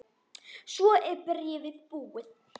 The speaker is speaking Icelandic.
Svo er bréfið búið